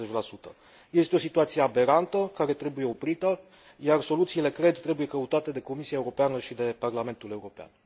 40. Este o situație aberantă, care trebuie oprită, iar soluțiile, cred, trebuie căutate de Comisia Europeană și de Parlamentul European.